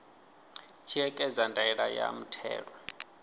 tshi ṋekedza ndaela ya muthelo